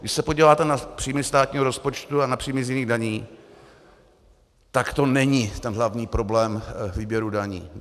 Když se podíváte na příjmy státního rozpočtu a na příjmy z jiných daní, tak to není ten hlavní problém výběru daní.